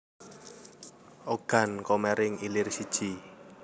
Ogan Komering Ilir siji